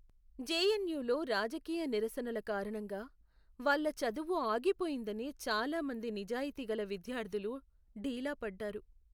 జెఎన్యులో రాజకీయ నిరసనల కారణంగా వాళ్ళ చదువు ఆగిపోయిందని చాలా మంది నిజాయితీగల విద్యార్థులు డీలా పడ్డారు.